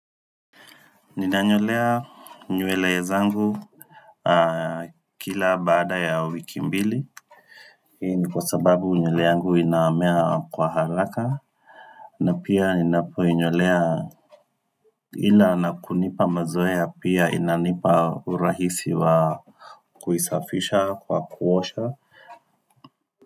Ninanyolea nywele zangu Kila baada ya wiki mbili Hii ni kwa sababu nywele yangu inamea kwa haraka na pia ninapoinyolea ila na kunipa mazoea pia inanipa urahisi wa Kuisafisha kwa kuosha.